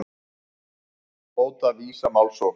Hóta Visa málsókn